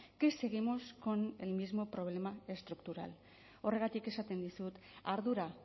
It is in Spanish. que seguimos con el mismo problema estructural horregatik esaten dizut ardura